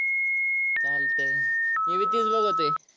चालतंय. मी बी तेच बघतोय.